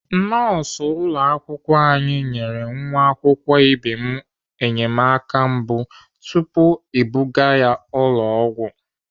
Nọọsụ ụlọakwụkwọ anyị nyere nwa akwụkwọ ibe m enyemaka mbụ tupu ebuga ya ụlọ ọgwụ.